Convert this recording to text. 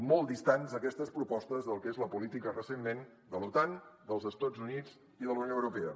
molt distants aquestes propostes del que és la política recentment de l’otan dels estats units i de la unió europea